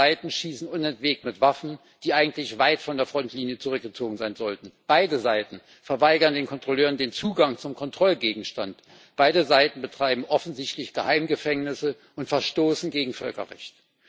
Beide Seiten schießen unentwegt mit Waffen, die eigentlich weit von der Frontlinie zurückgezogen sein sollten, beide Seiten verweigern den Kontrolleuren den Zugang zum Kontrollgegenstand, beide Seiten betreiben offensichtlich Geheimgefängnisse und verstoßen gegen Völkerrecht.